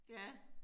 Ja